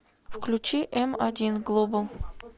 включи м один глобал